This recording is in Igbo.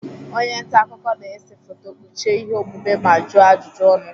Onye nta akụkọ na-ese foto, kpuchie ihe omume ma juọ ajụjụ ọnụ.